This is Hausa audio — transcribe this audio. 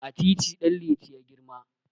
A titi Ɗanliti ya girma.